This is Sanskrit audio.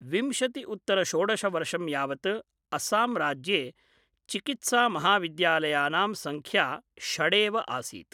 विंशति उत्तर षोडश वर्षं यावत् अस्समराज्ये चिकीत्सामहाविद्यालयानां संख्या षडेव आसीत्।